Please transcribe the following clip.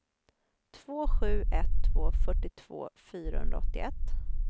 två sju ett två fyrtiotvå fyrahundraåttioett